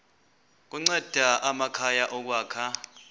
kunceda amakhaya ukwakha